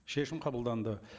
шешім қабылданды